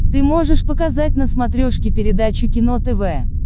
ты можешь показать на смотрешке передачу кино тв